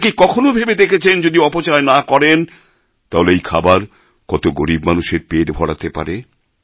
এটা কী কখনও ভেবে দেখেছেন যদি অপচয় না করেন তাহলে এই খাবার কত গরীব মানুষের পেট ভরাতে পারে